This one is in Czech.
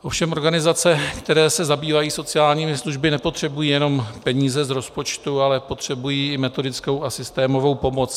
Ovšem organizace, které se zabývají sociálními službami, nepotřebují jenom peníze z rozpočtu, ale potřebují i metodickou a systémovou pomoc.